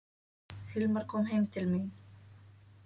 Hilmar kom heim til mín.